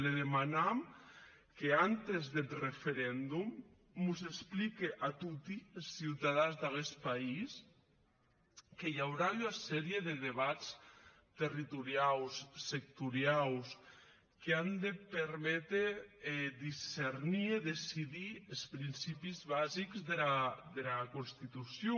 le demanam qu’abans deth referendum mos explique a toti es ciutadans d’aguest país que i aurà ua sèria de debats territoriaus sectoriaus qu’an de perméter discernir decidir es principis basics dera constitucion